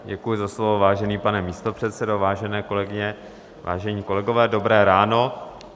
Děkuji za slovo, vážený pane místopředsedo, vážené kolegyně, vážení kolegové, dobré ráno.